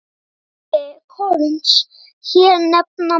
Bindi korns hér nefna má.